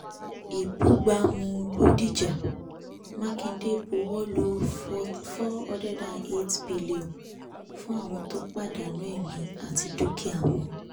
ìbúgbámú bòdìjà mákindè buwọ́lu 408b fún àwọn tó pàdánù èmi àti dúkìá wọn